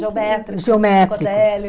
Geométricos, psicodélicos.